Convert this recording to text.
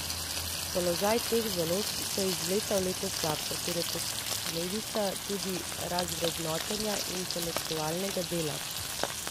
Položaj teh založb se iz leta v leto slabša, kar je posledica tudi razvrednotenja intelektualnega dela.